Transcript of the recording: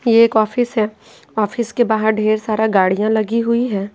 ये एक ऑफिस है ऑफिस के बाहर ढेर सारा गाड़ियाँ लगी हुई है।